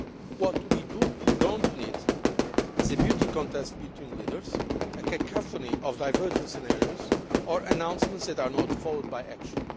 What we do not need is a beauty contest between leaders, a cacophony of diverging scenarios, or announcements that are not followed by action.